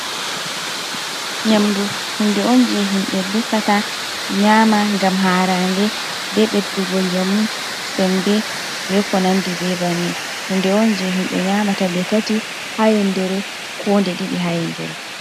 Nyamdu, hunde on je himɓe defata, nyaama ngam haarande, be ɓeddugo njamu, sembe be ko nandi be banni, hunde on je himɓe nyaamata nde tati ha nyandere, ko nde ɗiɗi ha nyandere.